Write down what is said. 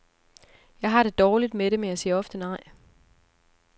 Jeg har det dårligt med det, men jeg siger ofte nej.